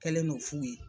Kɛlen no f'u ye